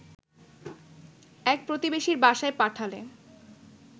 এক প্রতিবেশীর বাসায় পাঠালে